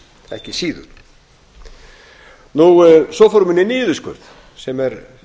ekki síður svo fóru menn í niðurskurð sem er